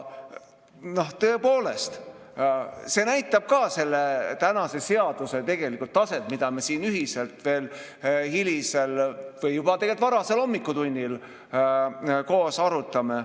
Tõepoolest, see näitab ka selle seaduse taset, mida me siin ühiselt veel hilisel või tegelikult juba varasel hommikutunnil koos arutame.